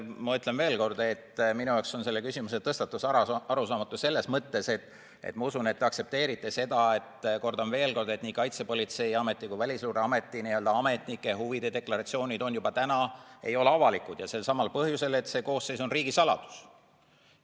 Ma ütlen veel kord, et minu jaoks on selle küsimuse tõstatus arusaamatu selles mõttes, et ma usun, et te aktsepteerite seda, et nii Kaitsepolitseiameti kui Välisluureameti ametnike huvide deklaratsioonid juba täna ei ole avalikud, ja selsamal põhjusel, et see koosseis on riigisaladus.